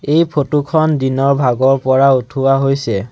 এই ফটো খন দিনৰ ভাগৰপৰা উঠোৱা হৈছে।